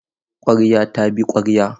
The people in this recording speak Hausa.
Ƙwarya ta bi ƙwarya.